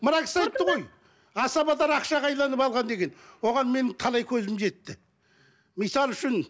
мына кісі айтты ғой асабалар ақшаға алған деген оған менің талай көзім жетті мысалы үшін